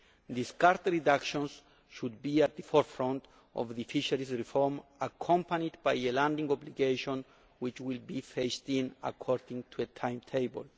Discard reductions should be at the forefront of the fisheries reform, accompanied by a landing obligation which will be phased in according to a timetable.